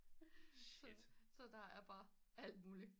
Så der er bare alt muligt